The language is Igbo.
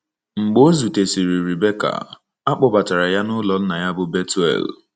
Mgbe o zutesịrị Rebecca, a kpọbatara ya n’ụlọ nna ya bụ́ Bethuel.